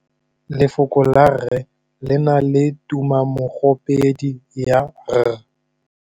Lefoko la rre le na le tumammogôpedi ya, r.